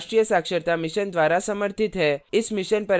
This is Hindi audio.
इस mission पर अधिक जानकारी इस लिंक पर उपलब्ध है